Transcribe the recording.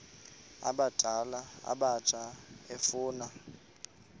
abadala abatsha efuna